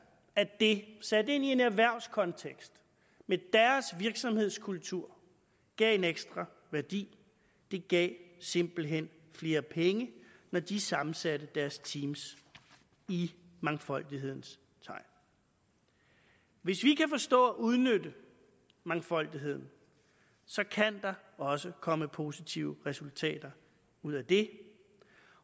at det sat ind i en erhvervskontekst med deres virksomhedskultur gav en ekstra værdi det gav simpelt hen flere penge når de sammensatte deres team i mangfoldighedens tegn hvis vi kan forstå at udnytte mangfoldigheden kan der også komme positive resultater ud af det